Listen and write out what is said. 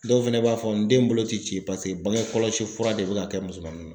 Dɔw fɛnɛ b'a fɔ n den bolo ti ci paseke bange kɔlɔsi fura de bɛ ka kɛ musomanin na.